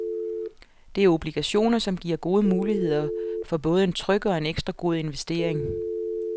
Det er obligationer, som giver gode muligheder for både en tryg og en ekstra god investering.